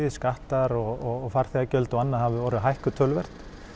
skattar og farþegagjöld og annað voru hækkuð töluvert